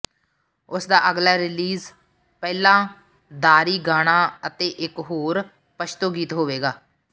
ਉਸ ਦਾ ਅਗਲਾ ਰਿਲੀਜ਼ ਪਹਿਲਾ ਦਾਰੀ ਗਾਣਾ ਅਤੇ ਇੱਕ ਹੋਰ ਪਸ਼ਤੋ ਗੀਤ ਹੋਵੇਗਾ